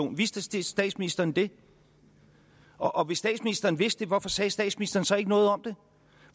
vidste statsministeren det og og hvis statsministeren vidste det hvorfor sagde statsministeren så ikke noget om det